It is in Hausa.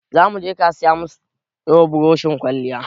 Za mu je kasuwa mu siyo burushin kwalliya